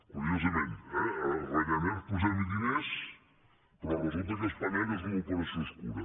curiosament eh a ryanair posem hi diners però resulta que spanair és una operació obscura